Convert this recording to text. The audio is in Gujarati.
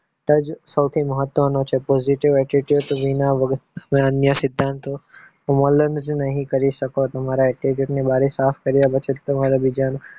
સફળતા જ સૌથી મહત્વનો છે positive attitude વિના વગર ના અન્ય સિદ્ધાંતો અમલ જ નહીં કરી શકો. તમારા attitude ની બારી સાફ કર્યા પછી જ તમારે બીજાના